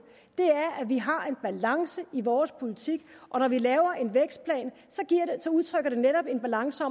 er at vi har en balance i vores politik og når vi laver en vækstplan udtrykker den netop den balance